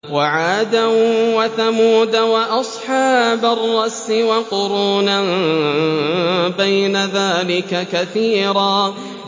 وَعَادًا وَثَمُودَ وَأَصْحَابَ الرَّسِّ وَقُرُونًا بَيْنَ ذَٰلِكَ كَثِيرًا